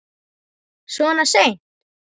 Svona seint?